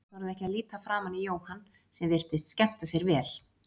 Þær þorðu ekki að líta framan í Jóhann sem virtist skemmta sér vel.